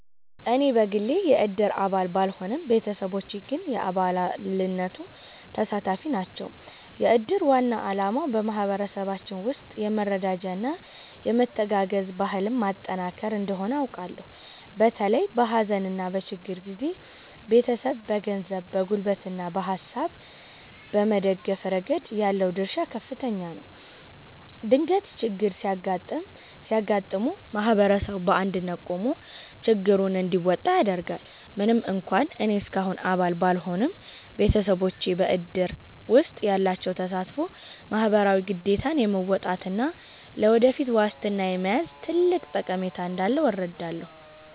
እኔ በግሌ የእድር አባል ባልሆንም፣ ቤተሰቦቼ ግን የአባልነቱ ተሳታፊ ናቸው። የእድር ዋና ዓላማ በማኅበረሰባችን ውስጥ የመረዳጃና የመተጋገዝ ባህልን ማጠናከር እንደሆነ አውቃለሁ። በተለይም በሐዘንና በችግር ጊዜ ቤተሰብን በገንዘብ፣ በጉልበትና በሐሳብ በመደገፍ ረገድ ያለው ድርሻ ከፍተኛ ነው። ድንገተኛ ችግሮች ሲያጋጥሙ ማኅበረሰቡ በአንድነት ቆሞ ችግሩን እንዲወጣ ያደርጋል። ምንም እንኳን እኔ እስካሁን አባል ባልሆንም፣ ቤተሰቦቼ በእድር ውስጥ ያላቸው ተሳትፎ ማኅበራዊ ግዴታን የመወጣትና ለወደፊት ዋስትና የመያዝ ትልቅ ጠቀሜታ እንዳለው እረዳለሁ።